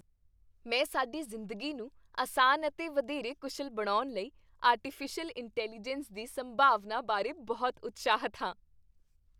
ਮੈਂ ਸਾਡੀ ਜ਼ਿੰਦਗੀ ਨੂੰ ਅਸਾਨ ਅਤੇ ਵਧੇਰੇ ਕੁਸ਼ਲ ਬਣਾਉਣ ਲਈ ਆਰਟੀਫਿਸ਼ਲ ਇੰਟੈਲੀਜੈਂਸ ਦੀ ਸੰਭਾਵਨਾ ਬਾਰੇ ਬਹੁਤ ਉਤਸ਼ਾਹਿਤ ਹਾਂ।